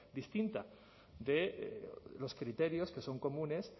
distinta de los criterios que son comunes